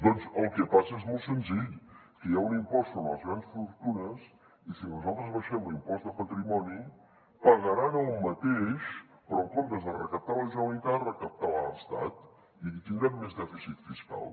doncs el que passa és molt senzill que hi ha un impost sobre les grans fortunes i si nosaltres abaixem l’impost de patrimoni pagaran el mateix però en comptes de recaptar la generalitat recaptarà l’estat i tindrem més dèficit fiscal